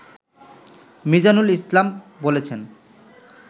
মিজানুল ইসলাম বলেছেন